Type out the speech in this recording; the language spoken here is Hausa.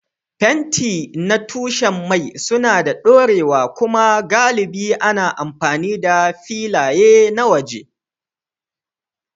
Fenti na tushen mai suna da ɗorewa kuma galibi ana amfani da filaye na waje.